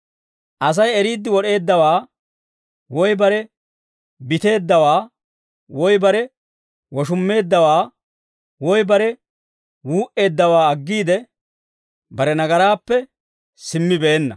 Asay eriid wod'eeddawaa, woy bare biteeddawaa, woy bare woshummeeddawaa, woy bare wuu"eeddawaa aggiide, bare nagaraappe simmibeenna.